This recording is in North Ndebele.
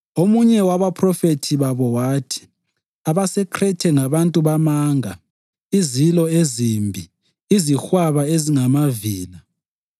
Omunye wabaphrofethi babo wathi, “AbaseKhrethe ngabantu bamanga, izilo ezimbi, izihwaba ezingamavila.”